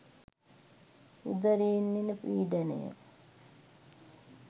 උදරයෙන් එන පීඩනය